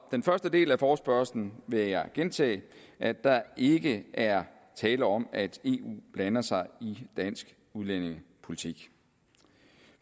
den første del af forespørgslen vil jeg gentage at der ikke er tale om at eu blander sig i dansk udlændingepolitik